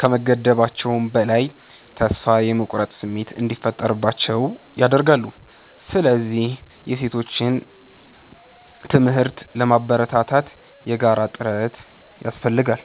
ከመገደባቸውም በላይ፥ ተስፋ የመቁረጥ ስሜት እንዲፈጠርባቸው ያደርጋሉ። ስለዚህ የሴቶችን ትምህርት ለማበረታታት የጋራ ጥረት ያስፈልጋል።